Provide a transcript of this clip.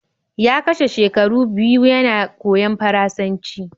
Ya kashe shekaru biyu yana koyon Faransanci.